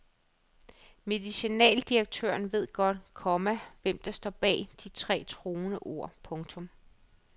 Medicinaldirektøren ved godt, komma hvem der står bag de tre truende ord. punktum